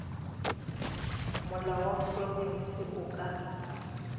molao wa profense o ka